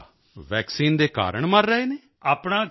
ਅੱਛਾ ਵੈਕਸੀਨ ਦੇ ਕਾਰਨ ਮਰ ਰਹੇ ਹਨ